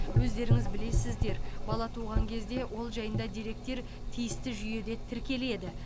өздеріңіз білесіздер бала туған кезде ол жайында деректер тиісті жүйеде тіркеледі